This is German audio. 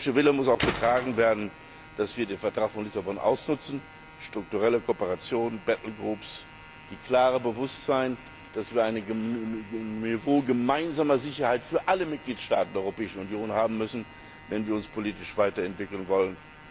Aber dieser politische Wille muss auch dadurch getragen werden, dass wir den Vertrag von Lissabon ausnutzen, durch strukturelle Kooperation, durch balltle groups durch das klare Bewusstsein, dass wir ein Niveau gemeinsamer Sicherheit für alle Mitgliedstaaten der Europäischen Union haben müssen, wenn wir uns politisch weiterentwickeln wollen.